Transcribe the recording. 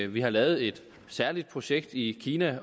vi har lavet et særligt projekt i kina